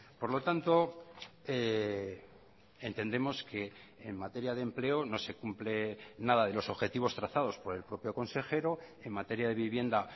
por lo tanto entendemos que en materia de empleo no se cumple nada de los objetivos trazados por el propio consejero en materia de vivienda